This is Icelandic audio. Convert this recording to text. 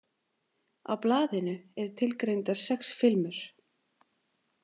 Á blaðinu eru tilgreindar sex filmur.